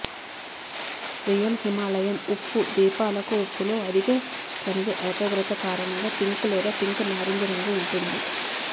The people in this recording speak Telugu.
రియల్ హిమాలయన్ ఉప్పు దీపాలకు ఉప్పులో అధిక ఖనిజ ఏకాగ్రత కారణంగా పింక్ లేదా పింక్ నారింజ రంగు ఉంటుంది